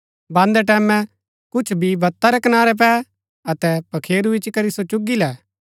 बान्दै टैमैं कुछ बी बता रै कनारै पै अतै पखेरू इच्ची करी सो चुगी लै